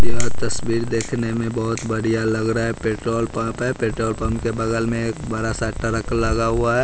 यह तस्वीर देखने में बहोत बढ़िया लग रहा है पेट्रोल पंप है पेट्रोल पंप के बगल में एक बड़ा सा ट्रक लगा हुआ है।